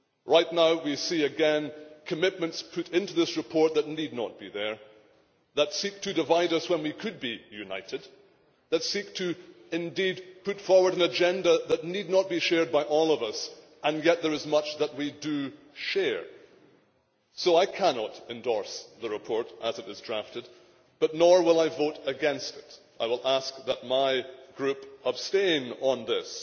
Right now we see again commitments put into this report that need not be there, that seek to divide us when we could be united, that indeed seek to put forward an agenda that need not be shared by all of us, and yet there is much that we do share. So I cannot endorse the report as it was drafted, but nor will I vote against it. I will ask that my group abstain on this.